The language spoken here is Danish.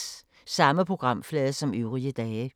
Samme programflade som øvrige dage